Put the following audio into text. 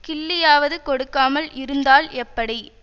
கிள்ளியாவது கொடுக்காமல் இருந்தால் எப்படி